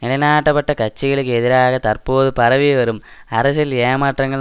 நிலைநாட்டப்பட்ட கட்சிகளுக்கு எதிராக தற்போது பரவிவரும் அரசியல் ஏமாற்றங்கள்